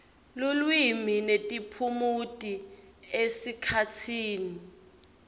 lulwimi netiphumuti esikhatsini